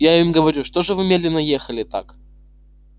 я им говорю что же вы медленно ехали так